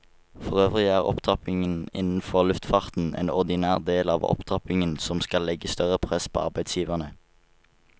Forøvrig er opptrappingen innenfor luftfarten en ordinær del av opptrappingen som skal legge større press på arbeidsgiverne.